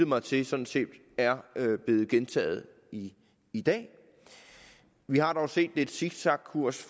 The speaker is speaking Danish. mig til sådan set er blevet gentaget i i dag vi har dog set lidt zigzagkurs